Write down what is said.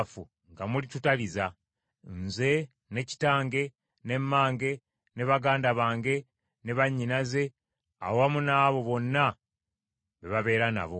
nga mulitutaliza; nze, ne kitange, ne mmange, ne baganda bange, ne bannyinaze awamu n’abo bonna be babeera nabo.”